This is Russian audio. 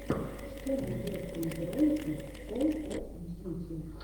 что найдется из роликов кол оф дьюти